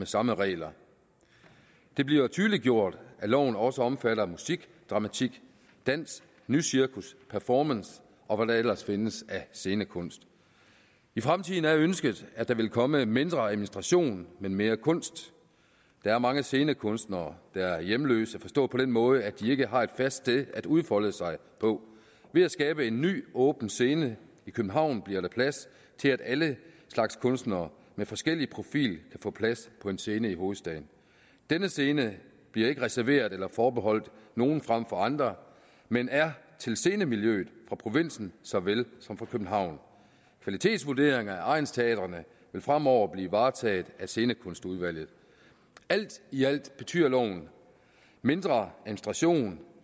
samme regler det bliver tydeliggjort at loven også omfatter musik dramatik dans nycirkus performance og hvad der ellers findes af scenekunst i fremtiden er ønsket at der vil komme mindre administration men mere kunst der er mange scenekunstnere der er hjemløse forstået på den måde at de ikke har et fast sted at udfolde sig på ved at skabe en ny åben scene i københavn bliver der plads til at alle slags kunstnere med forskellig profil kan få plads på en scene i hovedstaden denne scene bliver ikke reserveret eller forbeholdt nogen frem for andre men er til scenemiljøet fra provinsen såvel som fra københavn kvalitetsvurdering af egnsteatrene vil fremover blive varetaget af scenekunstudvalget alt i alt betyder loven mindre administration